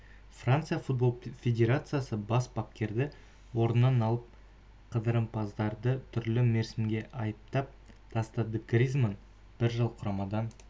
франция футбол федерациясы бас бапкерді орнынан алып қыдырымпаздарды түрлі мерзімге айыптап тастады гризманн бір жыл құрамадан